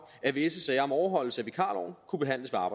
at visse sager om overholdelse af vikarloven kunne behandles af